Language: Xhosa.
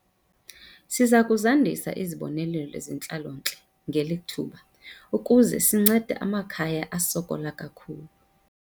Siza kuzandisa izibonelelo zentlalontle ngeli thuba ukuze sincede amakhaya asokola kakhulu.